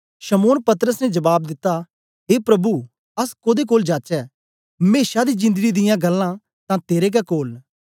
शमौन पतरस ने जबाब दित्ता ए प्रभु अस कोदे कोल जाचै मेशा दी जिंदड़ी दियां गल्लां तां तेरे गै कोल न